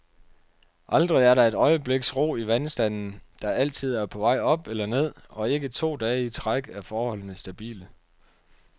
Aldrig er der et øjebliks ro i vandstanden, der altid er på vej op eller ned, og ikke to dage i træk er forholdene stabile.